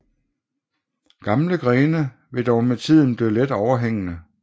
Gamle grene vil dog med tiden blive let overhængende